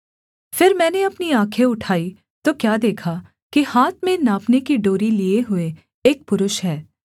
फिर मैंने अपनी आँखें उठाई तो क्या देखा कि हाथ में नापने की डोरी लिए हुए एक पुरुष है